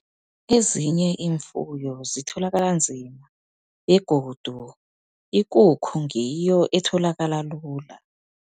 Ezinye iimfuyo zitholakala nzima, begodu ikukhu ngiyo etholakala lula.